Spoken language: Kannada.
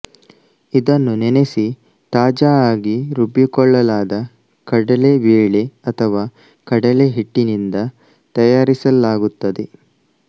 ಇದನ್ನು ನೆನೆಸಿ ತಾಜಾ ಆಗಿ ರುಬ್ಬಿಕೊಳ್ಳಲಾದ ಕಡಲೆ ಬೇಳೆ ಅಥವಾ ಕಡಲೆ ಹಿಟ್ಟಿನಿಂದ ತಯಾರಿಸಲಾಗುತ್ತದೆ